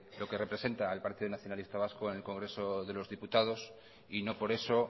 lo que representa el partido nacionalista vasco en el congreso de los diputados y no por eso